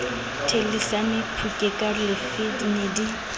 thellisane phupekalefe di ne di